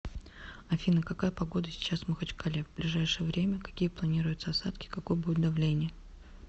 афина какая погода сейчас в махачкале в ближайшее время какие планируются осадки какое будет давление